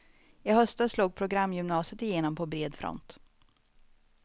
I höstas slog programgymnasiet igenom på bred front.